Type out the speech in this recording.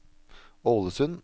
Ålesund